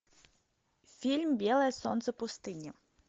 фильм белое солнце пустыни